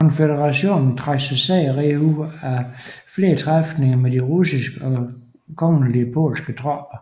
Konføderationen trak sig sejrrigt ud af flere træfninger med de russiske og kongelige polske tropper